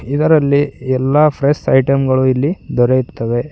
ಇದರಲ್ಲಿ ಎಲ್ಲಾ fresh item ಗಳು ಇಲ್ಲಿ ದೊರೆಯುತ್ತವೆ.